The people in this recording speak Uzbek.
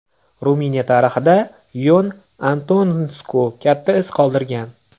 Ruminiya tarixida Yon Antonesku katta iz qoldirgan.